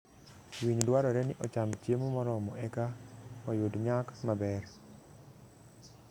Winy dwarore ni ocham chiemo moromo e ka oyud nyak maber.